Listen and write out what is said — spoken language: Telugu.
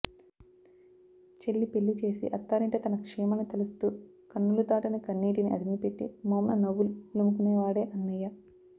చెల్లి పెళ్ళి చేసి అత్తారింట తన క్షేమాన్ని తలుస్తూ కన్నులు దాటని కన్నీటిని అదిమిపెట్టి మోమున నవ్వులు పులుముకునేవాడే అన్నయ్య